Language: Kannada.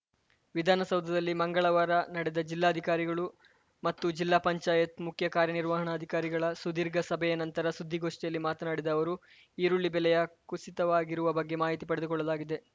ವಿಧಾನಸೌಧದಲ್ಲಿ ಮಂಗಳವಾರ ನಡೆದ ಜಿಲ್ಲಾಧಿಕಾರಿಗಳು ಮತ್ತು ಜಿಲ್ಲಾ ಪಂಚಾಯತ್‌ ಮುಖ್ಯ ಕಾರ್ಯನಿರ್ವಹಣಾಧಿಕಾರಿಗಳ ಸುದೀರ್ಘ ಸಭೆಯ ನಂತರ ಸುದ್ದಿಗೋಷ್ಠಿಯಲ್ಲಿ ಮಾತನಾಡಿದ ಅವರು ಈರುಳ್ಳಿ ಬೆಲೆಯ ಕುಸಿತವಾಗಿರುವ ಬಗ್ಗೆ ಮಾಹಿತಿ ಪಡೆದುಕೊಳ್ಳಲಾಗಿದೆ